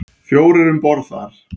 Fjórir um borð þar.